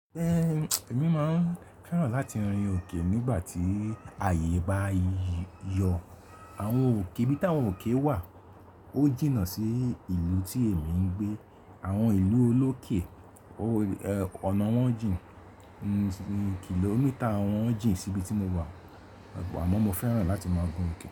Ẹ̀mi máa ń fẹ́ràn láti rin òkè nígbà tí àyè bá yọ. Àwọn òkè, íbí tí àwọn òkè wà, ó jìnnà sí ìlú tí èmi ń gbé. Àwọn ìlú olókè ọ̀nà wọn jìn, kìlómítà wọn jìn síbi tí mo wà, àmọ́ mo fẹ́ràn láti máa gun òkè.